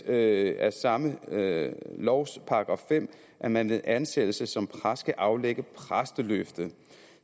af samme lovs § fem at man ved ansættelse som præst skal aflægge præsteløfte